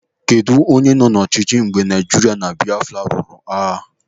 Kedụ onye nọ n'ọchịchị mgbe Naijiria na Biafra lụrụ agha?